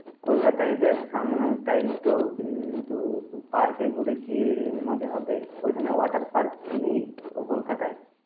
কলকাতায় দেখ, summer time তো কিন্তু park এ ঘুরে কি মজা হবে? ওইখানে water park নেই ও কলকাতায়?